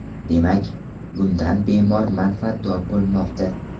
Demak, bundan bemor manfaatdor bo‘lmoqda.